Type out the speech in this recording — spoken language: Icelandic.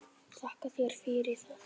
Þakka þér fyrir það.